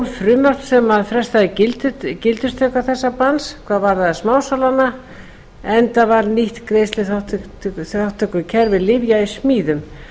frumvarp sem frestaði gildistöku þessa banns hvað varðar smásalana enda var nýtt greiðsluþátttökukerfi lyfja í smíðum